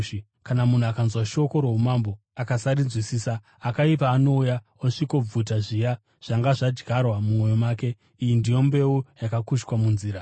Kana munhu akanzwa shoko roumambo, akasarinzwisisa, akaipa anouya osvikobvuta zviya zvanga zvadyarwa mumwoyo make. Iyi ndiyo mbeu yakakushwa munzira.